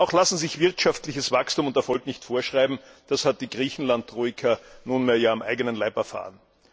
Auch lassen sich wirtschaftliches Wachstum und Erfolg nicht vorschreiben, das hat die Griechenland Troika ja nunmehr am eigenen Leib erfahren.